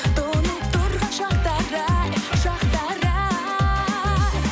тұнып тұрған шақтар ай шақтар ай